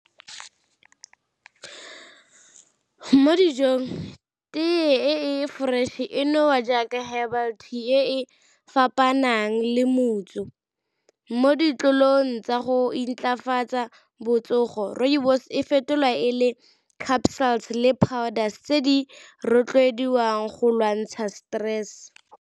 Mo dijong tee e fresh e nowa jaaka herbal tea e e fapanang le , mo ditlolong tsa go intlafatsa botsogo rooibos e fetolwa e le le powders tse di rotloediwang go lwantsha stress.